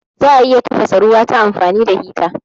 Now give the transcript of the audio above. Za'a iya tafasa ruwa ta amfani da hita